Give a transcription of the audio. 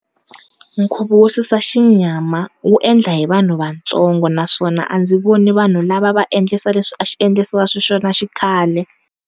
Nkhuvo wo susa xinyama wu endla hi vanhu vatsongo naswona a ndzi vona vanhu lava a va endlisa leswi a swi endlisiwa swona xikhale.